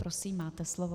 Prosím, máte slovo.